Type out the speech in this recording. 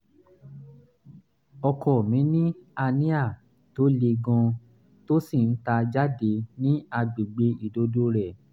ọkọ mi ní hernia tó le gan-an tó sì ń ta jáde ní àgbègbè ìdodo rẹ̀